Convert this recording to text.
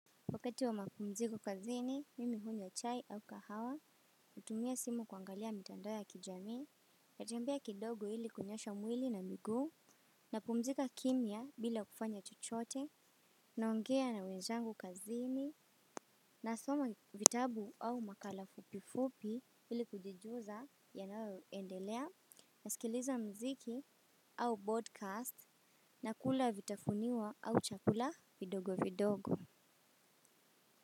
Wakati wa mapumziko kazini, mimi hunywa chai au kahawa, hutumia simu kuangalia mitandao ya kijamii, natembea kidogo ili kunyoosha mwili na miguu, napumzika kimya bila kufanya chochote, naongea na wenzangu kazini, nasoma vitabu au makala fupi fupi ili kujijuza yanayoendelea, nasikiliza muziki au broadcast, na kula vitafuniwa au chakula vidogo vidogo.